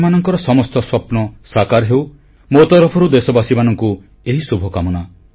ଆପଣମାନଙ୍କର ସମସ୍ତ ସ୍ୱପ୍ନ ସାକାର ହେଉ ମୋ ତରଫରୁ ଦେଶବାସୀମାନଙ୍କୁ ଏହି ଶୁଭକାମନା